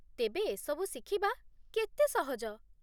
ତେବେ, ଏସବୁ ଶିଖିବା କେତେ ସହଜ ?